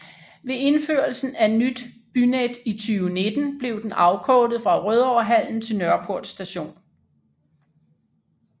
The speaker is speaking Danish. Ved indførelsen af Nyt Bynet i 2019 blev den afkortet fra Rødovrehallen til Nørreport st